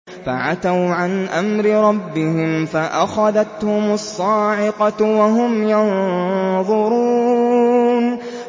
فَعَتَوْا عَنْ أَمْرِ رَبِّهِمْ فَأَخَذَتْهُمُ الصَّاعِقَةُ وَهُمْ يَنظُرُونَ